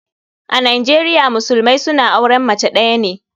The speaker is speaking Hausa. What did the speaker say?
A nijeria musulumai suna auren mace days ne.